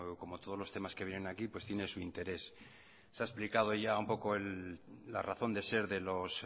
como todos los temas que vienen aquí pues tiene su interés se ha explicado ya un poco la razón de ser de los